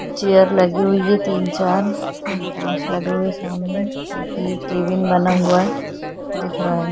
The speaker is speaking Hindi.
चेयर लगी हुई है तीन-चार काँच लगे हुई है सामने एक केबीन बना हुआ है दिख रहा हैं ।